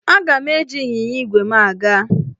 Aga m eji ịnyịnya ígwè m aga.